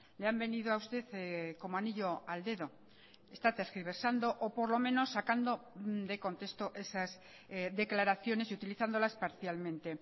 le han venido a usted como anillo al dedo está tergiversando o por lo menos sacando de contexto esas declaraciones y utilizándolas parcialmente